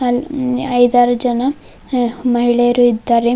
ಅಲ್ಲಿ ಐದಾರು ಜನ ಹ ಮಹಿಳೆಯರು ಇದ್ದಾರೆ.